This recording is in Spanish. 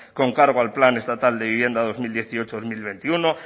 con cargo al plan estatal de vivienda dos mil dieciocho dos mil veintiuno